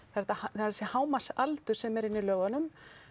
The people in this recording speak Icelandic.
þessi hámarksaldur sem er inni í lögunum